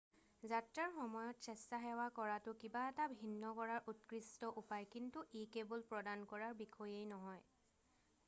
যাত্ৰাৰ সময়ত স্বেচ্ছাসেৱা কৰাটো কিবা এটা ভিন্ন কৰাৰ উৎকৃষ্ট উপায় কিন্তু ই কেৱল প্ৰদান কৰাৰ বিষয়েই নহয়